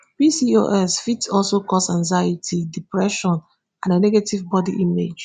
pcos fit also cause anxiety depression and a negative bodi image